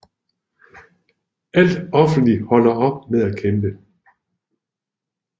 Alt offentligt holder op med at kæmpe